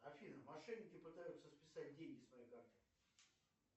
афина мошенники пытаются списать деньги с моей карты